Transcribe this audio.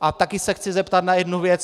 A taky se chci zeptat na jednu věc.